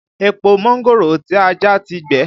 Èpò mángòrò tí a já ti gbẹ